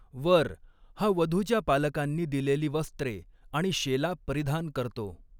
वर हा वधूच्या पालकांनी दिलेली वस्त्रे आणि शेला परिधान करतो.